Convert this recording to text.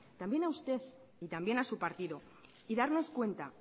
también a usted y también a su partido y darnos cuenta